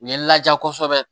U ye laja kosɛbɛ